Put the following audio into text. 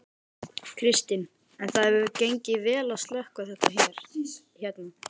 Kristinn: En það hefur gengið vel að slökkva þetta hérna?